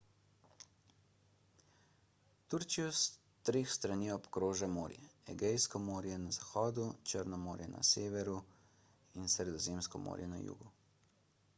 turčijo s treh strani obkroža morje egejsko morje na zahodu črno morje na severu in sredozemsko morje na jugu